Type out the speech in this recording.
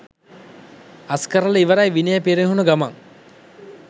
අස්කරල ඉවරයි විනය පිරිහුන ගමන්